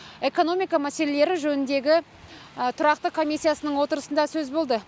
экономика мәселелері жөніндегі тұрақты комиссиясының отырысында сөз болды